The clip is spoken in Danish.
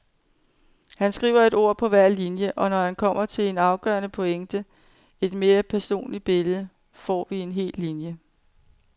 Han skriver et ord på hver linie, og når han kommer til en afgørende pointe, et mere personligt billede, får vi en hel linje.